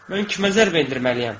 Mən kimə zərbə endirməliyəm?